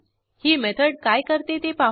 पुस्तक यशस्वीरित्या परत केल्याचा मेसेज मिळेल